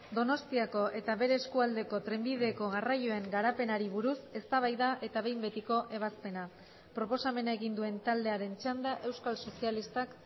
donostiako eta bere eskualdeko trenbideko garraioen garapenari buruz eztabaida eta behin betiko ebazpena proposamena egin duen taldearen txanda euskal sozialistak